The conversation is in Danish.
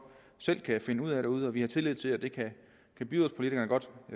selv kan finde ud af derude og vi har tillid til at byrådspolitikerne godt